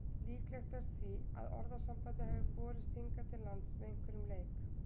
Líklegt er því að orðasambandið hafi borist hingað til lands með einhverjum leik.